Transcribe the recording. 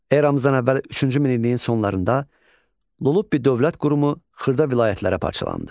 Eramızdan əvvəl üçüncü minilliyin sonlarında Lulubbi dövlət qurumu xırda vilayətlərə parçalandı.